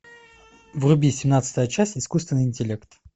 вруби семнадцатая часть искусственный интеллект